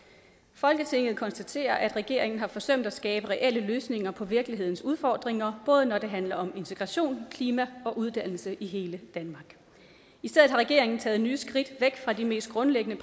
folketinget konstaterer at regeringen har forsømt at skabe reelle løsninger på virkelighedens udfordringer både når det handler om integration klima og uddannelse i hele danmark i stedet har regeringen taget nye skridt væk fra de mest grundlæggende